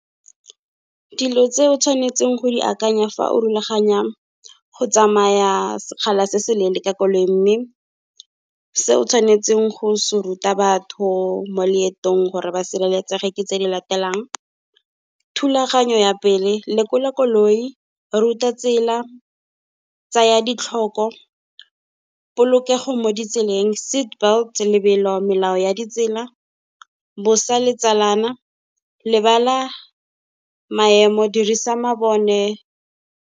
Dilo tse o tshwanetseng go di akanya fa o rulaganya go tsamaya sekgala se se leele ka koloi, mme se o tshwanetseng go se ruta batho mo leetong gore ba sireletsege ke tse di latelang, thulaganyo ya pele, lekola koloi, ruta tsela, tsaya ditlhoko. Polokego mo ditseleng, seat belt, lebelo, melao ya ditsela, bosa letsalana, lebala maemo, dirisa mabone.